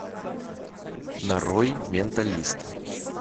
нарой менталист